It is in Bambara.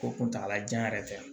Ko kuntagalajan yɛrɛ tɛ yan